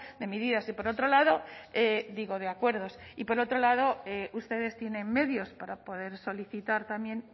de medidas y por otro lado digo de acuerdos y por otro lado ustedes tienen medios para poder solicitar también